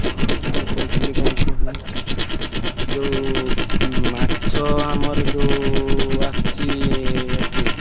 ହଁ ମୁଁ କହୁଥିଲି କଣ କୁହନି ଯୋଉ ଉଁ ମା~ ଛ~ ଆମର ଯୋଉ ଆ~ ସଚି~ ଏଠୁ।